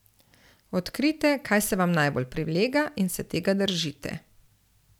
Odkrijte, kaj se vam najbolj prilega, in se tega držite.